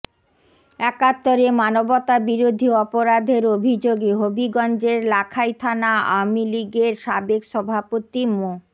একাত্তরে মানবতাবিরোধী অপরাধের অভিযোগে হবিগঞ্জের লাখাই থানা আওয়ামী লীগের সাবেক সভাপতি মো